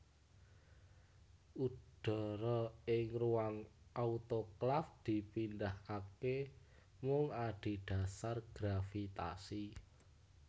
Udara ing ruang autoklaf dipindahake mung adhedhasar gravitasi